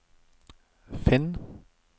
finn